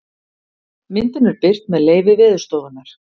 myndin er birt með leyfi veðurstofunnar